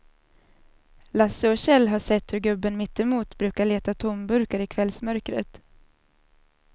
Lasse och Kjell har sett hur gubben mittemot brukar leta tomburkar i kvällsmörkret.